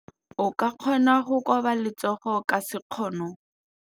O ka kgona go koba letsogo ka sekgono.